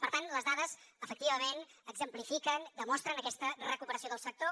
per tant les dades efectivament exemplifiquen demostren aquesta recuperació del sector